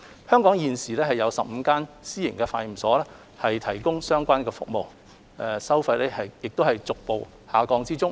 香港現時已有15間私營化驗所提供相關服務，收費亦逐步下降。